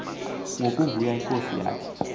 ngokuvuya inkosi yathi